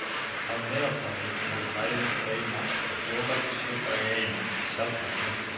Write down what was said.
Að meðaltali eru læður breima í fjóra til sjö daga í einu, sjaldnast lengur.